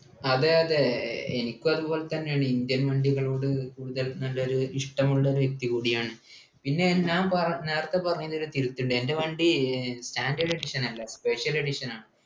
അതെ അതെ എനിക്കും അതുപോലെതന്നെയാണ് indian വണ്ടികളോട് കൂടുതൽ നല്ലൊരു ഇഷ്ടമുള്ള വ്യക്തി കൂടിയാണ് പിന്നെ ഞാൻ പറ നേരത്തെ പറഞ്ഞതില് തിരുത്തുണ്ട് എൻ്റെ വണ്ടി ഏർ standard edition അല്ല special edition ആണ്